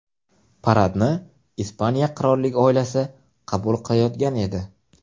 Paradni Ispaniya qirollik oilasi qabul qilayotgan edi.